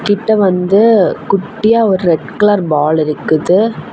கிட்ட வந்து குட்டியா ஒரு ரெட் கலர் பால் இருக்குது.